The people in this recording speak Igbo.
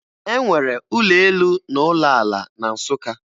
E nwere ụlọ elu na ụlọ ala na Nsụka